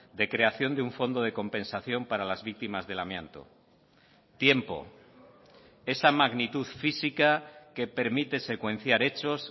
de creación de un fondo de compensación para las víctimas del amianto tiempo esa magnitud física que permite secuenciar hechos